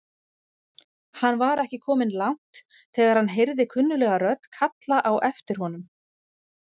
Hann var ekki kominn langt þegar hann heyrði kunnuglega rödd kalla á aftir honum.